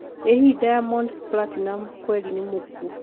ĩ hihi diamond platinumz kweri nĩ mũkuo